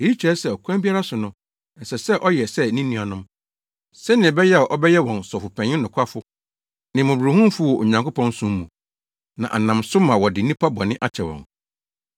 Eyi kyerɛ sɛ ɔkwan biara so no, ɛsɛ sɛ ɔyɛ sɛ ne nuanom, sɛnea ɛbɛyɛ a ɔbɛyɛ wɔn Sɔfopanyin nokwafo ne mmɔborɔhunufo wɔ Onyankopɔn som mu, na anam so ma wɔde nnipa bɔne akyɛ wɔn.